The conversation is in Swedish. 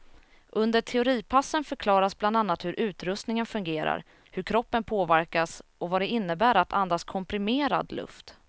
Under teoripassen förklaras bland annat hur utrustningen fungerar, hur kroppen påverkas och vad det innebär att andas komprimerad luft.